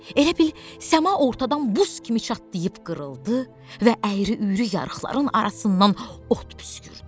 Elə bil səma ortadan buz kimi çatlayıb qırıldı və əyri-üyrü yarıqların arasından od püskürdü.